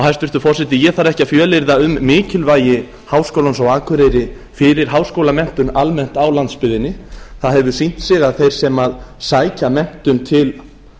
hæstvirtur forseti ég þarf ekki að fjölyrða um mikilvægi háskólans á akureyri fyrir háskólamenntun almennt á landsbyggðinni það hefur sýnt sig að þeir sem sækja menntun til